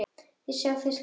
Þar sjá þau skrýtna sjón.